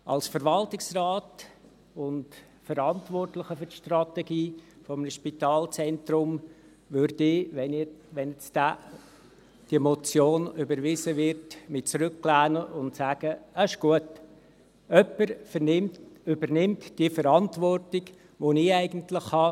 Als Verwaltungsrat und Verantwortlicher für die Strategie eines Spitalzentrums, würde ich mich, wenn diese Motion überwiesen wird, zurücklehnen und sagen: «Das ist gut, jemand übernimmt die Verantwortung, die eigentlich ich habe.